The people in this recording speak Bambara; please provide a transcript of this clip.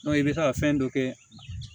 i bɛ taa fɛn dɔ kɛ